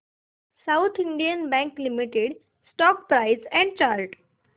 south Indian Bank Limited stock price and chart